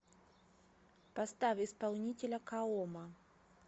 поставь исполнителя каома